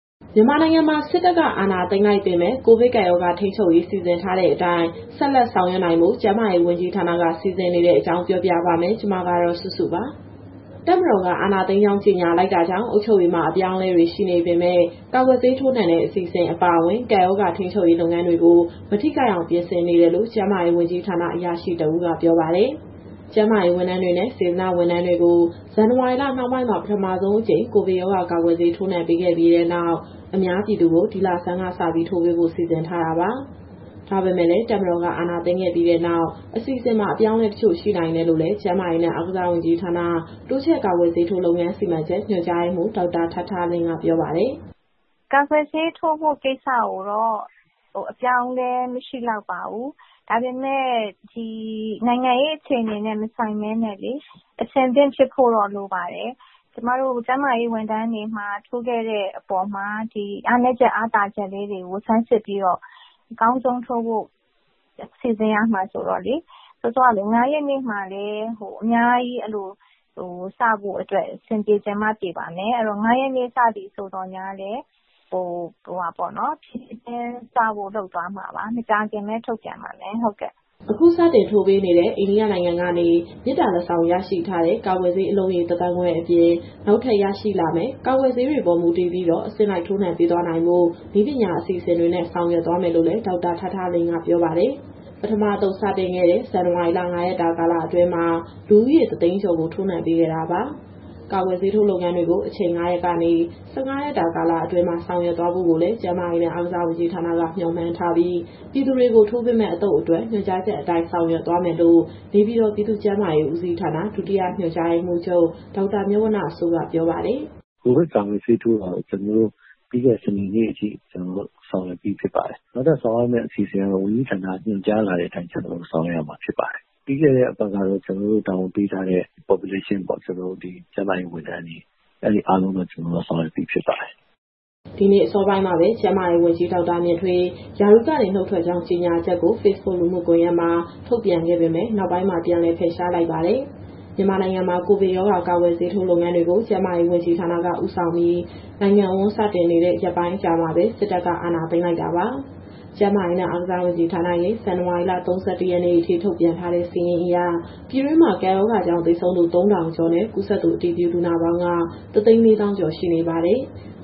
မြန်မာနိုင်ငံမှာ စစ်တပ်က အာဏာသိမ်းလိုက်ပေမဲ့ ကိုဗစ်ကပ်ရောဂါ ထိန်းချုပ်ရေး စီစဉ်ထားတဲ့အတိုင်း ဆက်လက် ဆောင်ရွက်နိုင်ဖို့ ကျန်းမာရေးဝန်ကြီးဌာနက စီစဉ်နေတဲ့အကြောင်း မစုစုပြောပြပါမယ်။ တပ်မတော်က အာဏာသိမ်းကြောင်း ကြေညာလိုက်တာကြောင့် အုပ်ချုပ်ရေးမှာ အပြောင်းအလဲတွေ ရှိနေပေမဲ့ ကာကွယ်ဆေး ထိုးနှံတဲ့ အစီအစဉ် အပါအဝင် ကပ်ရောဂါ ထိန်းချုပ်ရေး လုပ်ငန်းတွေကို မထိခိုက်အောင် ပြင်ဆင်နေတယ်လို့ ကျန်းမာရေးဝန်ကြီးဌာန အရာရှိ တဦးက ပြောပါတယ်။ ကျန်းမာရေးဝန်ထမ်းတွေနဲ့ စေတနာ့ဝန်ထမ်းတွေကို ဇန်နဝါရီလနှောင်းပိုင်းမှာ ပထမဆုံးအကြိမ် ကိုဗစ်ရောဂါ ကာကွယ်ဆေး ထိုးနှံပေးခဲ့ပြီးနောက် အများပြည်သူကို ဒီလဆန်းကစ ထိုးပေးဖို့ စီစဉ်ထားတာပါ။ ဒါပေမဲ့လည်း တပ်မတော်က အာဏာသိမ်းခဲ့ပြီနောက် အစီအစဉ်မှာ အပြောင်းအလဲတချို့ ရှိနိုင်တယ်လို့လည်း ကျန်းမာရေးနဲ့ အားကစားဝန်ကြီးဌာန တိုးချဲ့ကာကွယ်ဆေးထိုး လုပ်ငန်းစီမံချက် ညွှန်ကြားရေးမှူး ဒေါက်တာထားထားလင်းက ပြောပါတယ်။ " ကာကွယ်ဆေးထိုးဖို့ကိစ္စကိုတော့ အပြောင်းအလဲမရှိလောက်ပါဘူး။ ဒါပေမဲ့ ဒီနိုင်ငံရေးအခြေအနေနဲ့ မဆိုင်ဘဲနဲ့ အဆင်သင့်ဖြစ်ဖို့တော့လိုပါတယ်။ ကျမတို့ကျန်းမာရေးဝန်ထမ်းတွေ ထိုးခဲ့တဲ့အပေါ်မှာ ဒီအားနည်းချက်၊ အားသာချက်လေးတွေကို ဆန်းစစ်ပြီးတော့ အကောင်းဆုံးထိုးဖို့ စီစဉ်ရမှာဆိုတော့လေ။ စောစောကလို ၅ရက်နေ့မှာလည်း အများကြီးစဖို့အတွက် အဆင်ပြေချင်မှ ပြေပါမယ်။ အဲတော့ ၅ရက်နေ့ စပြီဆိုသော်ငြားလည်း ဖြေးဖြေးချင်းစဖို့လုပ်သွားမှာပါ... မကြာခင်လည်း ထုတ်ပြန်ပါမယ်။ " အခုစတင်ထိုးပေးနေတဲ့ အိန္ဒိယနိုင်ငံကနေ မေတ္တာလက်ဆောင်ရရှိထားတဲ့ ကာကွယ်ဆေး အလုံးရေ ၁သန်းခွဲအပြင်၊ နောက်ထပ်ရရှိလာမယ့် ကာကွယ်ဆေးတွေပေါ်မူတည်ပြီးတော့ အဆင့်လိုက်ထိုးနှံပေးသွားနိုင်ဖို့ နည်းပညာအစီအစဉ်တွေနဲ့ ဆောင်ရွက်သွားမယ်လို့လည်း ဒေါက်တာထားထားလင်းက ပြောပါတယ်။ ပထမအသုတ်စတင်ခဲ့တဲ့ ဇန်နဝါရီလ ၅ရက်တာကာလအတွင်းမှာ လူဦးရေ ၁သိန်းကျော်ကို ထိုးနှံပေးခဲ့တာပါ။ ကာကွယ်ဆေးထိုးလုပ်ငန်းတွေကို အချိန် ၅ရက်ကနေ ၁၅ ရက်တာ ကာလအတွင်းမှာဆောင်ရွက်သွားဖို့ကိုလည်း ကျန်းမာရေးနဲ့ အားကစားဝန်ကြီးဌာနက မျှော်မှန်းထားပြီး၊ ပြည်သူတွေကိုထိုးပေးမယ့် အသုတ်အတွက် ညွှန်ကြားချက်အတိုင်း ဆောင်ရွက်သွားမယ်လို့ နေပြည်တော် ပြည်သူ့ကျန်းမာရေးဦးစီးဌာန၊ ဒုတိယညွှန်ကြားရေးမှူးချုပ် ဒေါက်တာမြတ်ဝဏ္ဏစိုးက ပြောပါတယ်။ " ကိုဗစ်ကာကွယ်ဆေးထိုးတာတော့ ကျနော်တို့ပြီးခဲ့တဲ့ စနေနေ့အထိ ဆောင်ရွက်ပြီးဖြစ်ပါတယ်။ နောက်ထပ်ဆောင်ရွက်မယ့် အစီအစဉ်ကတော့ ဝန်ကြီးဌာနကညွှန်ကြားလာတဲ့အတိုင်း ကျနော်တို့ဆောင်ရွက်ရမှာ ဖြစ်ပါတယ်။ ပြီးခဲ့တဲ့အပတ်ကတော့ ကျနော်တို့ကို တာဝန်ပေးထားတဲ့ Population ပေါ့... ကျနော်တို့ ဒီကျန်းမာရေးဝန်ထမ်းတွေ အဲဒါတွေအားလုံးတော့ ဆောင်ရွက်ပြီးဖြစ်ပါတယ်။ " ဒီနေ့အစောပိုင်းမှာပဲ ကျန်းမာရေးဝန်ကြီး ဒေါက်တာမြင့်ထွေး ရာထူးကနုတ်ထွက်ကြောင်း ကြေညာချက်ကို ဖေ့်စ်ဘွတ်လူမှုကွန်ရက်မှာ ထုတ်ပြန်ခဲ့ပေမဲ့ နောက်ပိုင်းမှာ ပြန်လည်ဖယ်ရှားလိုက်ပါတယ်။ မြန်မာနိုင်ငံမှာ ကိုဗစ်ကပ်ရောဂါ ကာကွယ်ဆေးထိုး လုပ်ငန်းတွေကို ကျန်းမာရေးဝန်ကြီးဌာနက ဦးဆောင်ပြီး နိုင်ငံအဝန်း စတင်နေတာ ရက်ပိုင်းအကြာမှာပဲ စစ်တပ်က အာဏာသိမ်းလိုက်တာပါ။ ကျန်းမာရေးနဲ့ အားကစားဝန်ကြီးဌာနရဲ့ ဇန်နဝါရီလ ၃၁ ရက်နေ့အထိ ထုတ်ပြန်ထားတဲ့စာရင်းအရ ပြည်တွင်းမှာ ကပ်ရောဂါကြောင့်သေဆုံးသူ ၃,၀၀၀ ကျော်နဲ့ ကူးစက်သူအတည်ပြုလူနာပေါင်း ၁၄၀,၀၀၀ ကျော်ရှိနေပါတယ်။